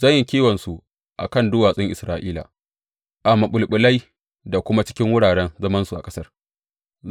Zan yi kiwonsu a kan duwatsun Isra’ila, a maɓulɓulai da kuma cikin wuraren zamansu a ƙasar.